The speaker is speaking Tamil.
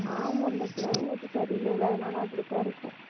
ஆமா இந்த climate சரியில்லைல்ல அதனால அப்படித்தான் இருக்கும்